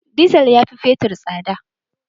Dizal ya fi fetur tsada.